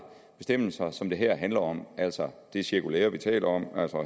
bestemmelser som det her handler om altså det cirkulære vi taler om og